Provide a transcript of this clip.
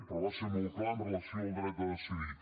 però va ser molt clar amb relació al dret a decidir